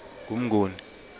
ngumnguni